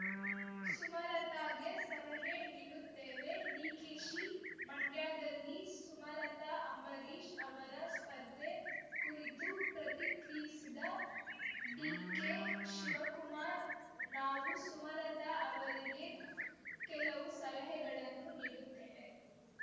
ಸುಮಲತಾಗೆ ಸಲಹೆ ನೀಡುತ್ತೇವೆ ಡಿಕೆಶಿ ಮಂಡ್ಯದಲ್ಲಿ ಸುಮಲತಾ ಅಂಬರೀಷ್‌ ಅವರ ಸ್ಪರ್ಧೆ ಕುರಿತು ಪ್ರತಿಕ್ರಿಯಿಸಿದ ಡಿಕೆಶಿವಕುಮಾರ್‌ ನಾವು ಸುಮಲತಾ ಅವರಿಗೆ ಕೆಲವು ಸಲಹೆಗಳನ್ನು ನೀಡುತ್ತೇವೆ